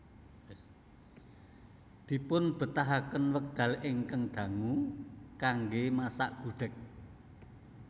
Dipunbetahaken wekdal ingkang dangu kanggé masak gudheg